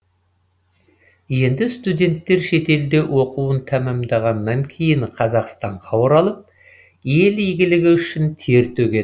енді студенттер шетелде оқуын тәмамдағаннан кейін қазақстанға оралып ел игілігі үшін тер төгеді